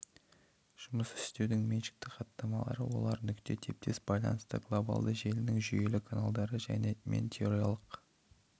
жұмыс істеудің меншікті хаттамалары олар нүкте типтес байланысты глобалды желінің жүйелі каналдары және мен территориялық